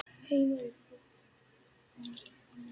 Heimili fólks.